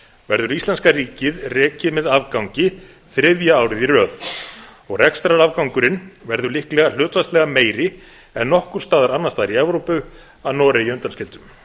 verður íslenska ríkið rekið með afgangi þriðja árið í röð og rekstrarafgangurinn verður líklega hlutfallslega meiri en nokkurs staðar annars staðar í evrópu að noregi undanskildum